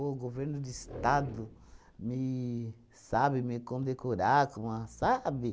O governo do estado me sabe me condecorar, com a, sabe?